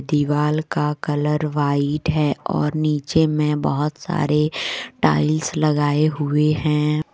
दीवाल का colour white है और नीचे में बहोत सारे टाइल्स लगाए हुए हैं।